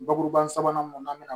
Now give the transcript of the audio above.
Bakuruba sabanan mun na an bɛna